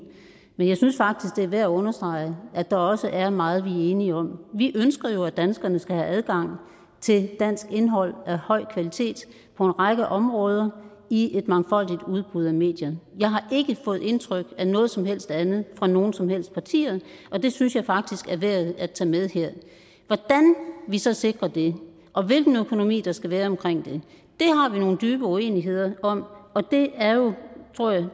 men jeg synes faktisk det er værd at understrege at der også er meget vi er enige om vi ønsker jo at danskerne skal have adgang til dansk indhold af høj kvalitet på en række områder i et mangfoldigt udbud af medier jeg har ikke fået indtryk af noget som helst andet fra nogen som helst partier og det synes jeg faktisk er værd at tage med her hvordan vi så sikrer det og hvilken økonomi der skal være omkring det har vi nogle dybe uenigheder om og det er jo